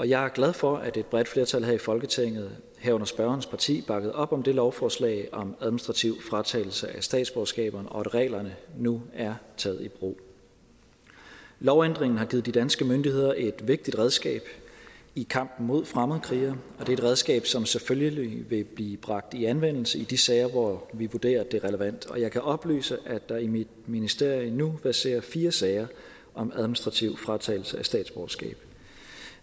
jeg er glad for at et bredt flertal her i folketinget herunder spørgerens parti bakkede op om det lovforslag om administrativ fratagelse af statsborgerskaberne og at reglerne nu er taget i brug lovændringen har givet de danske myndigheder et vigtigt redskab i kampen mod fremmedkrigere og det er et redskab som selvfølgelig vil blive bragt i anvendelse i de sager hvor vi vurderer det er relevant jeg kan oplyse at der i mit ministerium verserer fire sager om administrativ fratagelse af statsborgerskab